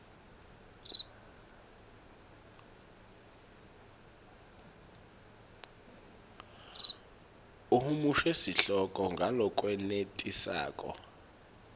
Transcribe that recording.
uhumushe sihloko ngalokwenetisako